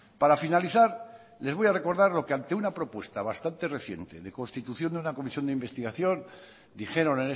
para finalizar les voy a recordar lo que ante una propuesta bastante reciente de constitución de una comisión de investigación dijeron